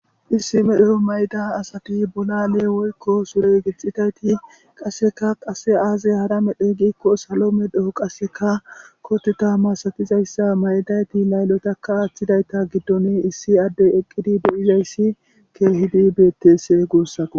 Issi medho mayida asati bollale woykko sure gixidaytti qasseka qase aze hara medhdhoy giikisallo medho qasseka kotetta massatizayssi mayidaytti layllotaka athidayta giddon issi adey eqqidi dizayssa betes gussakko.